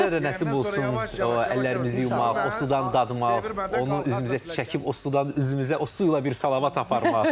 Bizə də nəsib olsun əllərimizi yumaq, o sudan dadmaq, onu üzümüzə çəkib o sudan üzümüzə o su ilə bir salavat aparmaq.